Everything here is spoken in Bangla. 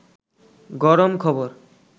গরম খবর